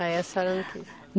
Aí a senhora não quis.